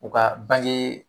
U ka bange